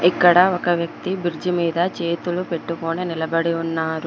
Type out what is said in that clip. ఇక్కడ ఒక వ్యక్తి బ్రిడ్జి మీద చేతులు పెట్టుకొని నిలబడి ఉన్నారు.